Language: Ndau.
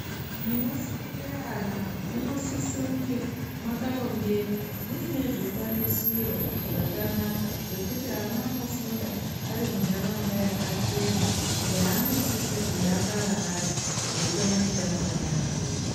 Munofundire ana munosiso kunge mwakarongeka, muine zvikwanisiro zvakanaka zvekuti ana anofunda ari muntaraunda yakachena, yaanosise kudakara ari, eikone kutamba neamweni.